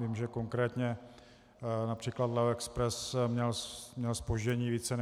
Vím, že konkrétně například LEO Express měl zpoždění více